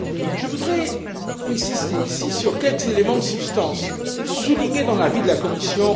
Je voudrais insister ici sur quelques éléments de substance soulignés dans l'avis de la Commission.